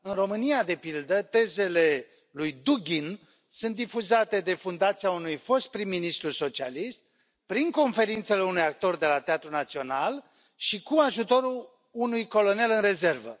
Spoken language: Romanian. În România, de pildă, tezele lui Dughin sunt difuzate de fundația unui fost prim ministru socialist, prin conferințele unui actor de la Teatrul Național și cu ajutorul unui colonel în rezervă.